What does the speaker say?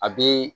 A be